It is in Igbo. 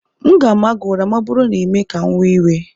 M ga-ama gị ụra ma ọ bụrụ na ị mee ka m wee iwe